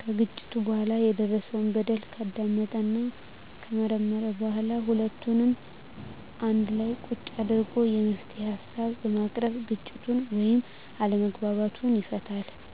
ከግጭቱ በኋላ የደረሰው በደል ካዳመጠና ከመረመረ በኋላ ሁለቱንም አንድላ ቁጭ አድርጎ የመፍትሄ ሀሳቦችን በማቅረብ ግጭቱን ወይም አለመግባባቱን ይፈታል።